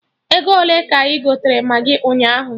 Ego ole ka ị gotere Maggị ụnyaahụ?